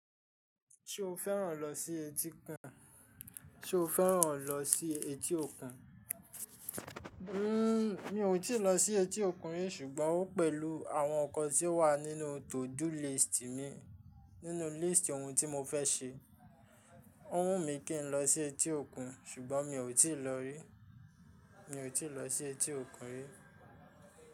Ṣo fẹ́ràn lọ sí etí òkun? Mi ò tíì lọ sí etí òkun rí ṣùgbọ́n ó pẹ̀lú àwọn ǹkan tí ó wà nínú to do list mi, nínú list ohun tí mo fẹ́ ṣe. Ó wù mí kí n lọ sí etí òkun ṣùgbọ́n mi ò tí ì lọ rí. Mi ò tí ì lọ sí etí òkun rí.